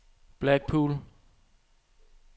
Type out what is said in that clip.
Blackpool